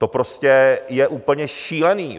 To prostě je úplně šílený.